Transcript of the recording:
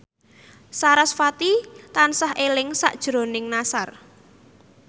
sarasvati tansah eling sakjroning Nassar